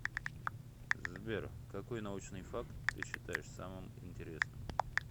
сбер какой научный факт ты считаешь самым интересным